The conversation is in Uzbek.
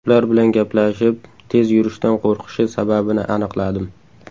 Ular bilan gaplashib, tez yurishdan qo‘rqishi sababini aniqladim.